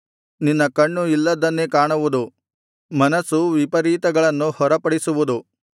ನಿನ್ನ ಕಣ್ಣು ಇಲ್ಲದ್ದನ್ನೇ ಕಾಣುವುದು ಮನಸ್ಸು ವಿಪರೀತಗಳನ್ನು ಹೊರಪಡಿಸುವುದು